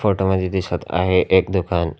Photo मध्ये दिसत आहे एक दुकान.